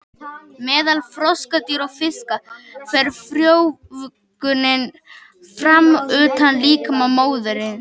Meðal froskdýra og fiska fer frjóvgunin fram utan líkama móður.